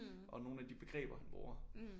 Og nogle af de begreber han bruger